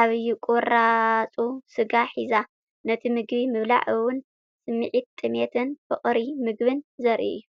ዓቢ ቁራጽ ስጋ ሒዛ ፣ ነቲ ምግቢ ምብላዕ እውን ስምዒት ጥሜትን ፍቕሪ ምግቢን ዘርኢ እዩ።